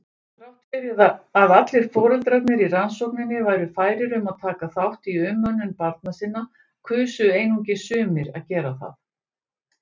Þrátt fyrir að allir foreldrarnir í rannsókninni væru færir um að taka þátt í umönnun barna sinna kusu einungis sumir að gera það.